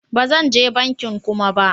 Ba zan je bankin Kuma ba.